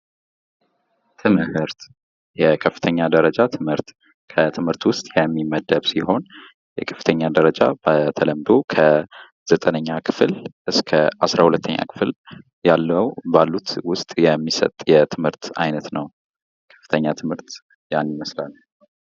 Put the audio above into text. ትምህርት፤ የከፍተኛ ደረጃ ትምህርት፦ ከትምህርት ውስጥ የሚመደብ ሲሆን የከፍተኛ ደረጃ በተለምዶ ከ9ኛ ክፍል እስከ 12ኛ ክፍል ያለው (ባሉት)ውስጥ የሚሰጥ የትምህርት ዓይነት ነው፤ ከፍተኛ ትምህርት ያን ይመስላል።